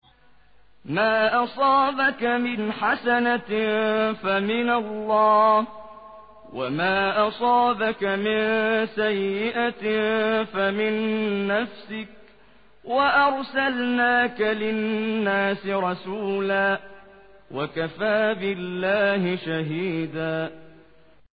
مَّا أَصَابَكَ مِنْ حَسَنَةٍ فَمِنَ اللَّهِ ۖ وَمَا أَصَابَكَ مِن سَيِّئَةٍ فَمِن نَّفْسِكَ ۚ وَأَرْسَلْنَاكَ لِلنَّاسِ رَسُولًا ۚ وَكَفَىٰ بِاللَّهِ شَهِيدًا